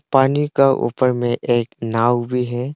पानी का ऊपर में एक नाउ भी है।